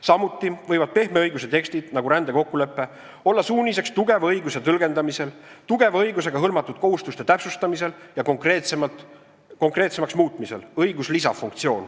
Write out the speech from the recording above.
Samuti võivad pehme õiguse tekstid, nagu rändekokkulepe, olla suuniseks tugeva õiguse tõlgendamisel, tugeva õigusega hõlmatud kohustuste täpsustamisel ja konkreetsemaks muutmisel .